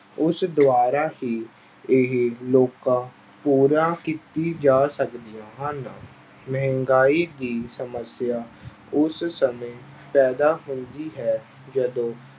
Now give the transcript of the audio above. ਉਸ ਦੁਆਰਾ ਹੀ ਇਹ ਲੋਕਾਂ ਪੂਰਾ ਕੀਤੀ ਜਾ ਸਕਦੀਆਂ ਹਨ, ਮਹਿੰਗਾਈ ਦੀ ਸਮੱਸਿਆ ਉਸ ਸਮੇਂ ਪੈਦਾ ਹੁੰਦੀ ਹੈ ਜਦੋਂ